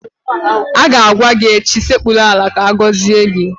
Ọ ga-agwa gị echi "Sekpuru ala ka agọzie gị!